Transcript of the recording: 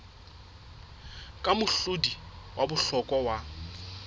ke mohlodi wa bohlokwa wa